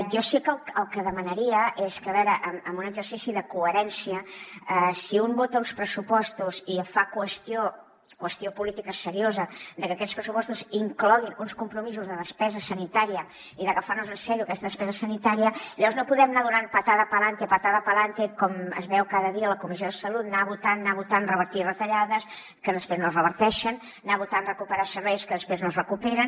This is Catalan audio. jo sí que el que demanaria és que a veure en un exercici de coherència si un vota uns pressupostos i fa qüestió política seriosa de que aquests pressupostos incloguin uns compromisos de despesa sanitària i d’agafar nos en sèrio aquesta despesa sanitària llavors no podem anar donant patada pa’lante es veu cada dia a la comissió de salut anar votant anar votant revertir retallades que després no es reverteixen anar votant recuperar serveis que després no es recuperen